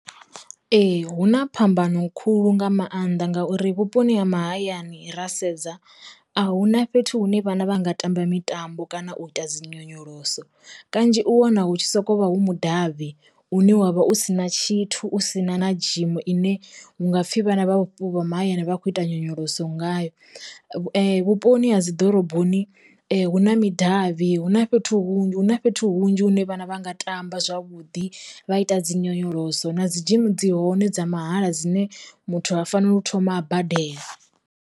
Ee hu na phambano khulu nga maanḓa ngauri vhuponi ha mahayani ra sedza a hu na fhethu hu ne vhana vha nga tamba mitambo kana u ita dzi nyonyoloso, kanzhi u wana hu tshi soko vha hu mudavhi une wavha u si na tshithu sina na dzhimu ine hunga pfhi vhana vha vhupo ha mahayani vha khou ita nyonyoloso ngayo. Vhuponi ha dzi ḓoroboni hu na midavhi hu na fhethu hunzhi hu na fhethu hunzhi hune vhana vha nga tamba zwavhuḓi vha ita dzi nyonyoloso na dzi dzhimi dzi hone dza mahala dzine muthu ha faneli u thoma a badela.